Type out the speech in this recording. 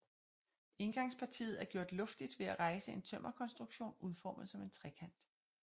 Indgangspartiet er gjort luftigt ved at rejse en tømmerkonstruktion udformet som en trekant